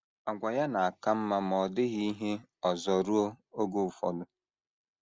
Àgwà ya na - aka mma ma ọ dịghị ihe ọzọ ruo oge ụfọdụ.